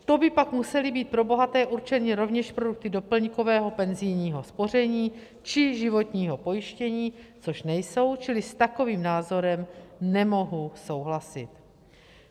To by pak musely být pro bohaté určeny rovněž produkty doplňkového penzijního spoření či životního pojištění, což nejsou, čili s takovým názorem nemohu souhlasit.